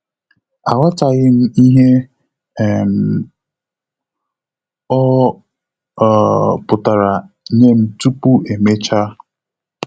Aghọtaghịm ihe um ọ um pụtara nyem tupu emecha